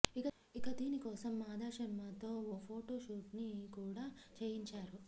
ఇక దీనికోసం ఆదాశర్మ తో ఓ ఫోటో షూట్ కూడా చేయించారు